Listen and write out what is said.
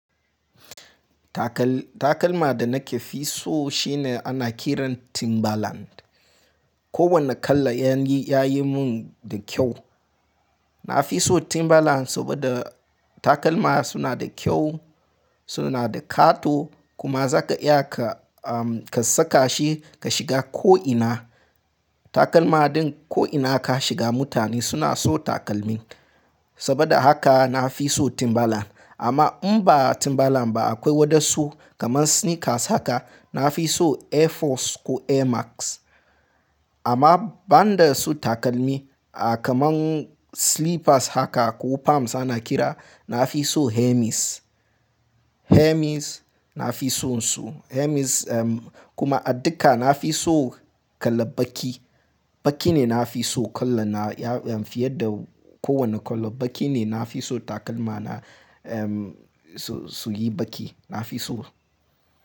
Takal-- takalma da nake fi so shine ana kiran timberland. Ko wanne kala yayi, yayi mun da kyau. Na fi so timberland saboda takalma suna da kyau, suna da kato, kuma zaka iya ka, um, ka saka shi ka shiga ko'ina. Takalma din ko'ina ka shiga mutane suna so takalmi. Saboda haka na fi so timbaland. Amma in ba timberland ba akwai wadansu kamar sneakers haka. Na fi so air force ko air max. Amma banda su takalmi, a, kaman slippers haka ko palms ana kira, na fi so hermes. Hermes na fi sonsu. Hermes kuma a duka na fi so kala baki. Baki ne na fi so kala na fiye da kowane kala. Baki ne na fi so takalma na su, su yi baki. Na fi so.